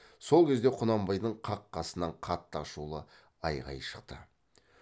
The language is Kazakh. сол кезде құнанбайдың қақ қасынан қатты ашулы айғай шықты